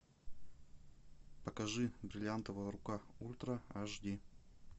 покажи бриллиантовая рука ультра аш ди